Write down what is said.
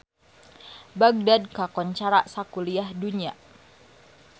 Bagdad kakoncara sakuliah dunya